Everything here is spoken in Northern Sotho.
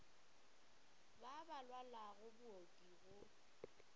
ba ba lwalago booki go